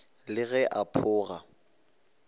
le ge a pho ga